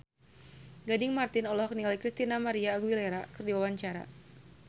Gading Marten olohok ningali Christina María Aguilera keur diwawancara